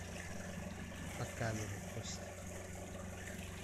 показывай кости